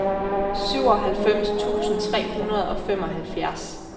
syvoghalvfems tusind tre hundrede og femoghalvfjerds